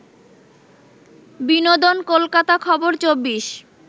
বিনোদন কলকাতা খবর ২৪